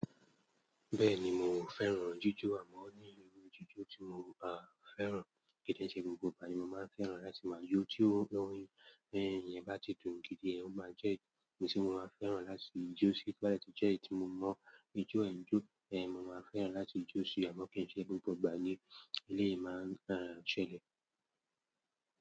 Bẹ́ẹ̀ni mò ń fẹ́ràn jíjó àmọ́ nílé ohun jíjó tí mo máa ń fẹ́ràn ko kì n ṣe gbogbo ìgbà ni mo máa ń fẹ́ràn láti máa jó. Tí ohùn orin ìyẹn bá ti dùn gidi, ó máa jẹ́ ohun tí mo máa fẹ́ràn láti jó sí. Tó bá dẹ̀ tún jẹ́ èyí tí mo mọ̀ ijó ẹ̀ ń jó, mo máa fẹ́ràn láti jó síi, àmọ́ kì ń ṣe gbogbo ìgbà ní eléyìí yìí máa ń ṣẹlẹ̀.